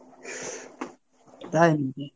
তাই নাকি?